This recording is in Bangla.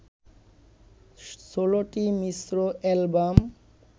১৬ টি মিশ্র অ্যালবাম